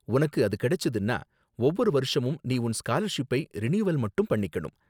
உனக்கு அது கிடைச்சுதுன்னா, ஒவ்வொரு வருஷமும் நீ உன் ஸ்காலர்ஷிப்பை ரினியூவல் மட்டும் பண்ணிக்கணும்.